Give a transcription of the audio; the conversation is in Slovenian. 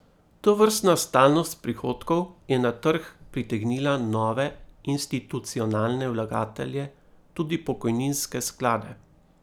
Tovrstna stalnost prihodkov je na trg pritegnila nove institucionalne vlagatelje, tudi pokojninske sklade.